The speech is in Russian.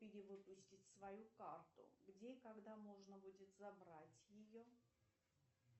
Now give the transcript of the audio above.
перевыпустить свою карту где и когда можно будет забрать ее